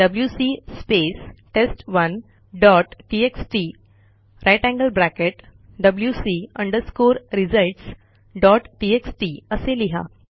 WC space test one dot TXT grater than sign wc results dot TXT असे लिहा